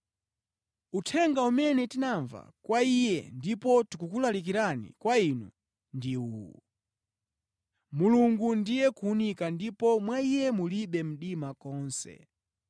Uthenga umene tinamva kwa Iye ndipo tikuwulalikira kwa inu ndi uwu: Mulungu ndiye kuwunika ndipo mwa Iye mulibe mdima konse.